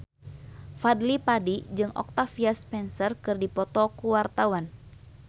Fadly Padi jeung Octavia Spencer keur dipoto ku wartawan